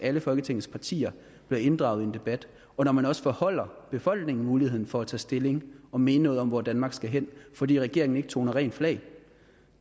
alle folketingets partier bliver inddraget i en debat og når man også forholder befolkningen muligheden for at tage stilling og mene noget om hvor danmark skal hen fordi regeringen ikke toner rent flag